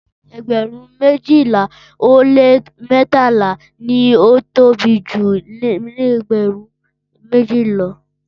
Ẹgba mejila o le mẹtala ni o tobi ju ẹgbẹrun meji lọ.